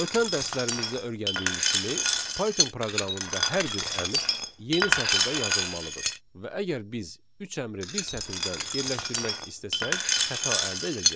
Ötən dərslərimizdə öyrəndiyimiz kimi Python proqramında hər bir əmr yeni sətirdən yazılmalıdır və əgər biz üç əmri bir sətirdən yerləşdirmək istəsək, xəta əldə edəcəyik.